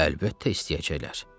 Əlbəttə istəyəcəklər.